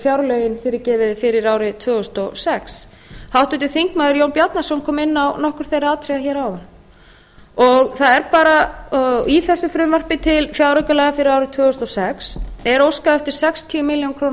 fjárlögin fyrir árið tvö þúsund og sex háttvirtur þingmaður jón bjarnason kom inn á nokkur þeirra atriða hér áðan það er bara í þessu frumvarpi til fjáraukalaga fyrir árið tvö þúsund og sex er óskað eftir sextíu milljónir króna